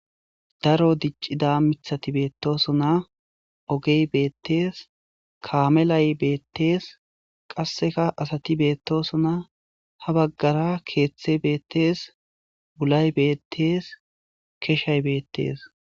Daro dic'ida mithati beetosona ogey betters kameley bettes qaseka asati betosona ha bagara keethey betees wullay bettes keshay bettes.